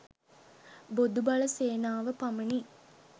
බොදු බල සේනාව පමණි.